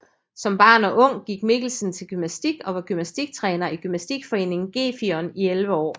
Som barn og ung gik Mikkelsen til gymnastik og var gymnastiktræner i Gymnastikforeningen Gefion i elleve år